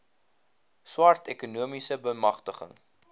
swart ekonomiese beamgtiging